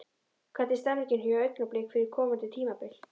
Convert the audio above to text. Hvernig er stemningin hjá Augnablik fyrir komandi tímabil?